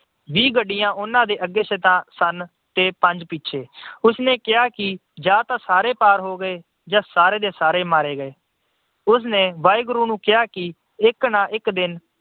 ਵੀਹ ਗੱਡੀਆਂ ਉਹਨਾਂ ਦੇ ਅੱਗੇ ਸਨ ਤੇ ਪੰਜ ਪਿੱਛੇ। ਉਸਨੇ ਕਿਹਾ ਕਿ ਜਾਂ ਤਾਂ ਸਾਰੇ ਪਾਰ ਹੋ ਗਏ ਜਾਂ ਸਾਰੇ ਦੇ ਸਾਰੇ ਮਾਰੇ ਗਏ। ਉਸਨੇ ਵਾਹਿਗੁਰੂ ਨੂੰ ਕਿਹਾ ਕਿ ਇੱਕ ਨਾ ਇਕ ਦਿਨ